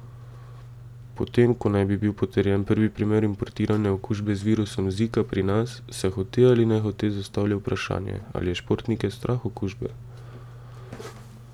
Potem ko naj bi bil potrjen prvi primer importirane okužbe z virusom zika pri nas, se hote ali nehote zastavlja vprašanje, ali je športnike strah okužbe.